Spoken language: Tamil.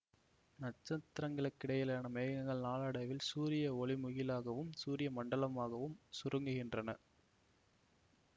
நட்ச்த்திரங்களுக்கிடையேயான மேகங்கள் நாளடைவில் சூரிய ஒளிமுகிலாகவும் சூரிய மண்டலமாகவும் சுருங்குகின்றன